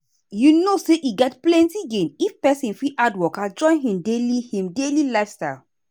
you know say e get plenty gain if person fit add waka join him daily him daily lifestyle.